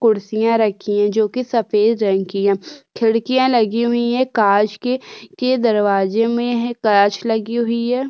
कुर्सियाँ रखी हैं जो कि सफ़ेद रंग की है खिड़कियाँ लगी हुई हैं काँच की काँच की के दरवाजे में हैं काँच लगी हुई है।